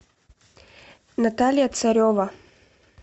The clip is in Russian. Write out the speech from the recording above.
наталья царева